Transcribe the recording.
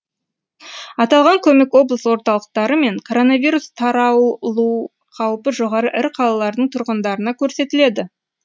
аталған көмек облыс орталықтары мен коронавирус таралу қаупі жоғары ірі қалалардың тұрғындарына көрсетіледі